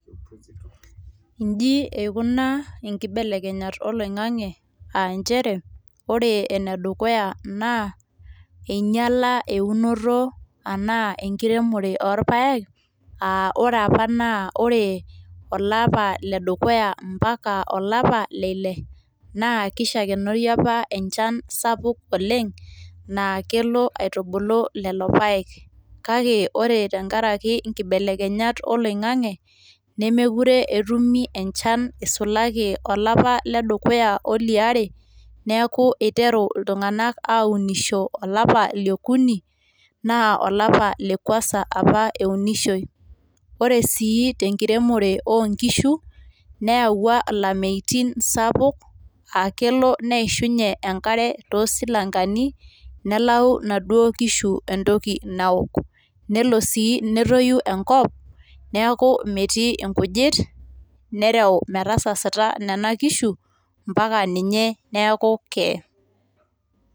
iji eikuna inkibelekenyat oloing'ang'e, ore ene dukuya naa eing'iala eunoto, anaa enkiremore oorpaek, oraae apa naa ore olapa le dukuya mpaka ole Ile naa kishakenori apa enchan sapuk oleng naa kelo aitubulu lelo paek. kake ore tenkaraki inkibelekenyat oloing'ang'e neemukure etumi enchan nisulaki tolapa le dukuya oliare, neeku eiteru iltunganak aairemisho olapa liokuni, naa olapa lekuasa apa eiremishoi. ore sii tenkiremore oo nkishu, neyawau ilameitin sapuk, aa kelo neishunye enkare too silankeni, nelau inaduoo kishu entoki naok. nelo sii netoyu enkop neeku metii inkujit, nereu metasasita nena kishu mpaka ninye neeku keeye.